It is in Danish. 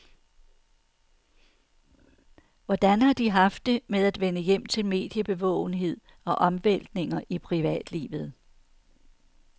Hvordan har de haft det med at vende hjem til mediebevågenhed og omvæltninger i privatlivet?